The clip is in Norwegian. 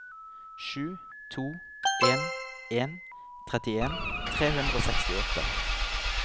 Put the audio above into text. sju to en en trettien tre hundre og sekstiåtte